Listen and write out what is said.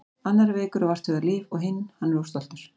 Annar er veikur og vart hugað líf og hinn. hann er of stoltur.